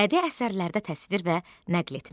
Bədii əsərlərdə təsvir və nəql etmə.